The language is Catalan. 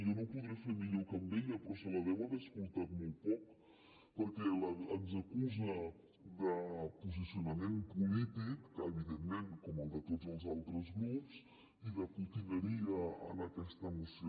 jo no ho podré fer millor que ella però se la deu haver escoltat molt poc perquè ens acusa de posicionament polític que evidentment com el de tots els altres grups i de potineria en aquesta moció